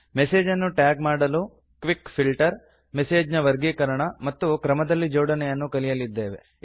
message ಅನ್ನು tag ಮಾಡಲು quick filter message ನ ವರ್ಗೀಕರಣ ಮತ್ತು ಕ್ರಮದಲ್ಲಿ ಜೋಡಣೆಯನ್ನು ಕಲಿಯಲಿದ್ದೇವೆ